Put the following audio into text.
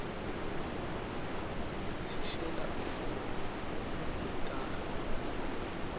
thishela ufundza taga tenkhulumo